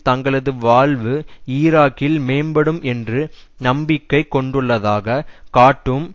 தங்களது வாழ்வு ஈராக்கில் மேம்படும் என்று நம்பிக்கை கொண்டுள்ளதாக காட்டும்